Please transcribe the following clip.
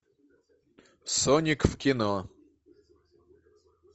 соник в кино